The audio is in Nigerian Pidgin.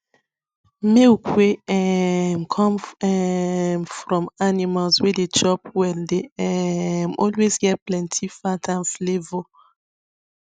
milk wey um come um from animals wey dey chop well dey um always get plenty fat and flavour